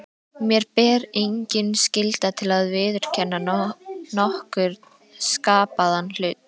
Mér ber engin skylda til að viðurkenna nokkurn skapaðan hlut.